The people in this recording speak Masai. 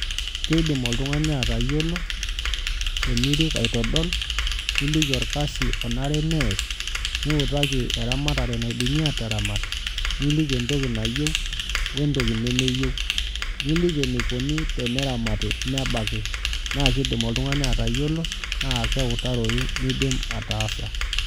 Kidim oltungani atayiolo tenirik aitadol nikiki orkasi onare neas niutaki eramatare naidimi ataramat, niliki entoki nayieu we ntoki nemeyieu niliki entoki nayiau neramati nebaki na kidim oltungani atayiolo na keutaroi nidim ataasa.